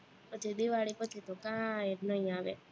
પછી દિવાળી પછી તો કાઈ નઈ આવે